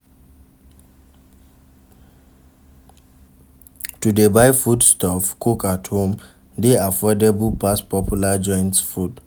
To de buy food stuff cook at home de affordable pass popular joints food